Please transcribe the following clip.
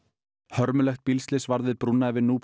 hörmulegt bílslys varð við brúna yfir